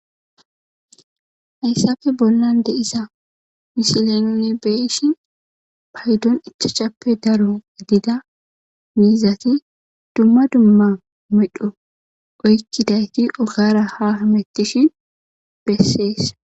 hayssafe bollan deisa misilenone beishin paydon ichachappe daro gedida miizati dumma dumma medho oykkidayti ogara ha hamettishin bessees